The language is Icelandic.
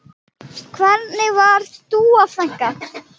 Hvernig var Dúa frænka?